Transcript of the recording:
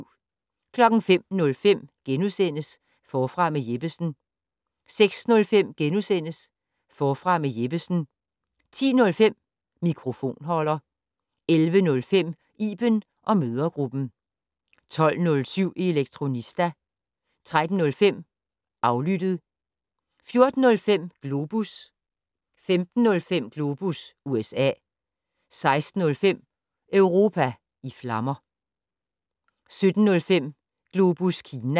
05:05: Forfra med Jeppesen * 06:05: Forfra med Jeppesen * 10:05: Mikrofonholder 11:05: Iben & mødregruppen 12:07: Elektronista 13:05: Aflyttet 14:05: Globus 15:05: Globus USA 16:05: Europa i flammer 17:05: Globus Kina